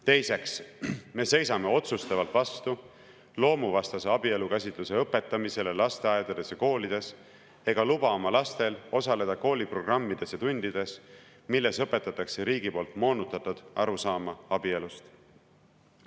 Teiseks, me seisame otsustavalt vastu loomuvastase abielukäsitluse õpetamisele lasteaedades ja koolides ega luba oma lastel osaleda koolitundides, milles õpetatakse riigi poolt moonutatud arusaama abielust.